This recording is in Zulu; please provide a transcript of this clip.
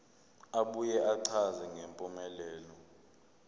abuye achaze ngempumelelo